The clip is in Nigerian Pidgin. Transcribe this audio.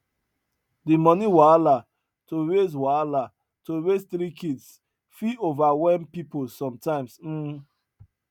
di money wahala to raise wahala to raise three kids fit overwhelm pipul sometimes um